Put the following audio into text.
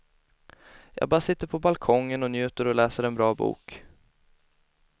Jag bara sitter på balkongen och njuter och läser en bra bok.